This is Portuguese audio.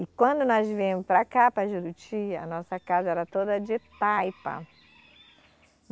E quando nós viemos para cá, para Juruti, a nossa casa era toda de taipa.